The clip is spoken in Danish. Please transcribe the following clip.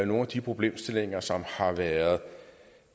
nogle af de problemstillinger som har været